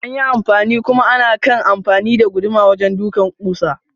Anyi anfani kuma anakai amfani da guduma wajen ɗukan kusa.